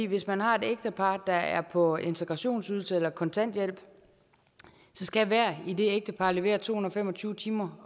hvis man har et ægtepar der er på integrationsydelse eller kontanthjælp skal hver af det ægtepar levere to hundrede og fem og tyve timer